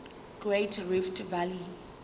great rift valley